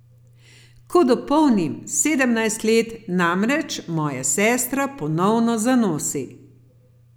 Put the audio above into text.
Ko dopolnim sedemnajst let, namreč moja sestra ponovno zanosi.